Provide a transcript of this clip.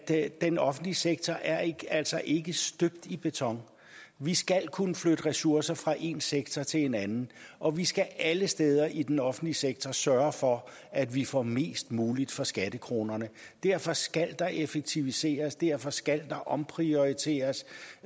at den offentlige sektor altså ikke er støbt i beton vi skal kunne flytte ressourcer fra en sektor til en anden og vi skal alle steder i den offentlige sektor sørge for at vi får mest muligt for skattekronerne derfor skal der effektiviseres derfor skal der omprioriteres